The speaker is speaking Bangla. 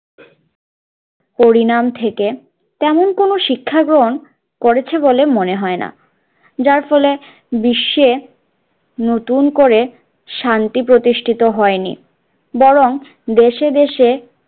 পরিণাম থেকে তেমন কোনো শিক্ষা গ্রহণ করেছে বলে মনে হয়না যার ফলে বিশ্বে নতুন করে শান্তি প্রতিষ্ঠিত হয় নি বরং দেশে দেশে